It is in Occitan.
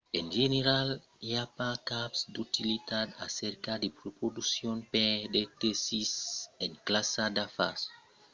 en general i a pas cap d'utilitat a cercar de reduccions per de sètis en classa d'afars o en primièra classa suls vòls dirèctes del ponch a a b